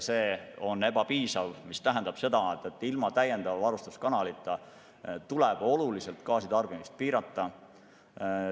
See on ebapiisav ja see tähendab seda, et ilma täiendava varustuskanalita tuleb oluliselt gaasitarbimist piirata.